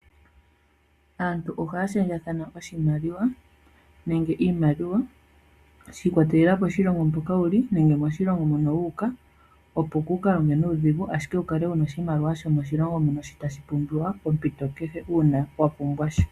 Aantu ohaya shendjathana oshimaliwa nenge iimaliwa shi ikwatelela poshilongo moka wuli nenge moshilongo mona wu uka opo kuka longe nuudhigu ashike wu kale wuna oshimaliwa shomoshilongo shi tashi pumbiwa popito kehe uuna wa pumbwa sha.